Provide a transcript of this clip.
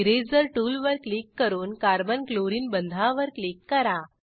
eraser tool वर click करून carbon chlorine बंधावर क्लिक करा